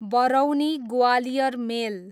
Barauni Gwalior मेल